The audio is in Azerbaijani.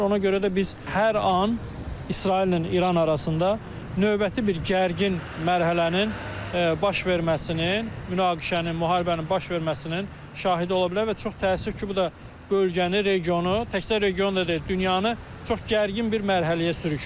Ona görə də biz hər an İsraillə İran arasında növbəti bir gərgin mərhələnin baş verməsinin, münaqişənin, müharibənin baş verməsinin şahidi ola bilər və çox təəssüf ki, bu da bölgəni, regionu, təkcə regionu da deyil, dünyanı çox gərgin bir mərhələyə sürükləyir.